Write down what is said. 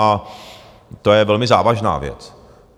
A to je velmi závažná věc.